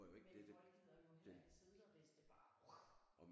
Men folk gider jo heller ikke sidder hvis det bare whush